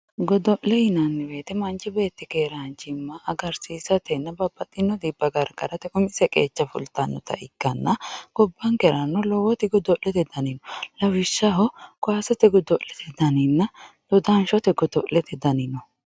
Godole yinani woyite manchi beti keranchima agarisisatena babaxino dhiba garigarate umise kecha fulitanota ikitana gobankerano lowo godolete dani no lawishaho kasete godo'lete daninna dodanshote godo'lete dani no